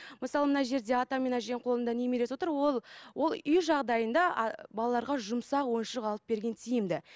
мысалы мына жерде ата мен әженің қолында немересі отыр ол ол үй жағдайында а балаларға жұмсақ ойыншық алып берген тиімді